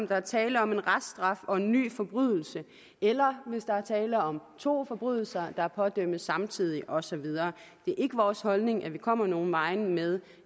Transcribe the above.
der er tale om en reststraf og en ny forbrydelse eller der er tale om to forbrydelser der pådømmes samtidig og så videre det er ikke vores holdning at vi kommer nogen vegne med